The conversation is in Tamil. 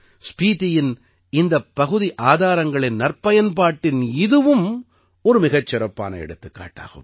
ஸ்பீதியின் அந்தப் பகுதி ஆதாரங்களின் நற்பயன்பாட்டின் இதுவும் ஒரு மிகச் சிறப்பான எடுத்துக்காட்டாகும்